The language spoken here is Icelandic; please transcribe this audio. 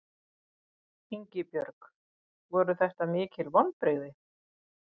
Ingibjörg voru þetta mikil vonbrigði?